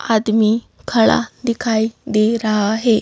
आदमी खड़ा दिखाई दे रहा है।